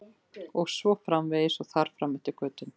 Og svo framvegis og þar fram eftir götum.